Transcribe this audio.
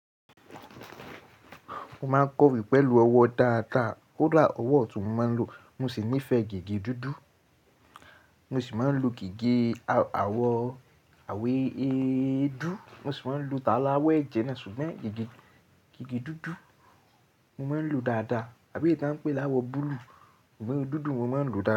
Mo máa ń kọ rí pẹ̀lú ọwọ́ dáadáa. Kódà ọwọ́ tó máa ń lo, mo sì nífẹ̀ẹ́ gígé dúdú. Mo sì máa ń lo gígé awọ̀ àwé eédú. Mo sì máa ń lo tààrà ọwọ́ ẹ̀jẹ̀ náà, ṣùgbọ́n gígé, gígé dúdú mo máa ń lo dáadáa àbí èyí tí wọ́n ń pè láwọ̀ búlúù. Òún dúdú, mo máa ń lo dáadáa.